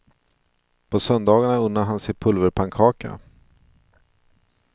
På söndagarna unnar han sig pulverpannkaka.